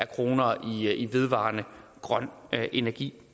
kroner i vedvarende grøn energi